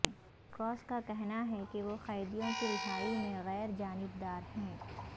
red Cross کا کہنا ہے کہ وہ قیدیوں کی رہائی میں غیر جانبدار ہیں